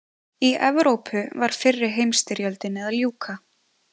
Í Evrópu var fyrri heimsstyrjöldinni að ljúka.